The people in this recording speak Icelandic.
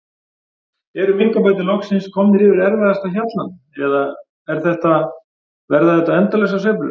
Eru minkabændur loksins komnir yfir erfiðasta hjallann eða er þetta, verða þetta endalausar sveiflur?